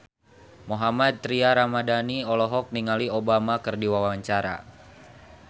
Mohammad Tria Ramadhani olohok ningali Obama keur diwawancara